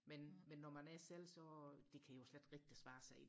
men men når man er selv så det kan jo slet ikke rigtig svare sig